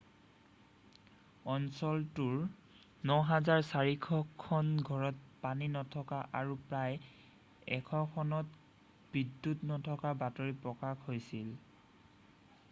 অঞ্চলটোৰ 9400 খন ঘৰত পানী নথকাৰ আৰু প্ৰায় 100 খনত বিদ্যুৎ নথকাৰ বাতৰি প্ৰকাশ হৈছিল